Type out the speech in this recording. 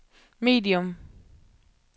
medium